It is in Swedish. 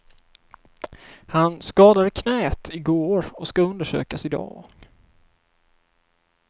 Han skadade knät i går och ska undersökas idag.